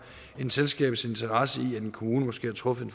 end selskabets interesse i at en kommune måske har truffet